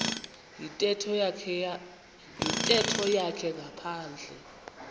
yintetho yakhe ngaphandle